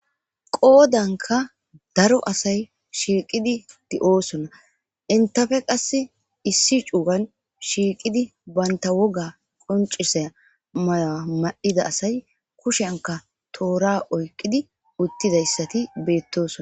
qoodanka daro asay shiiqidi di7oosonna intafe qass issi cuugan shiiqidi baynta woga qoncisa mayoa madida asay kushenka toora oyqidi uttidayssati beettoso